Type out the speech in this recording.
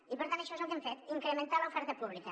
i per tant això és el que hem fet incrementar l’oferta pública